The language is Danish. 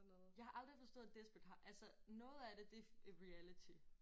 Jeg har aldrig forstået desperate altså noget af det det reality?